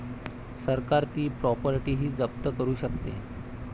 सरकार ती प्रॉपर्टीही जप्त करू शकते.